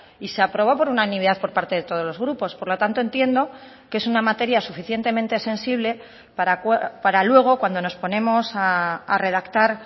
y se aprobó por unanimidad por parte de todos los grupos por lo tanto entiendo que es una materia suficientemente sensible para luego cuando nos ponemos a redactar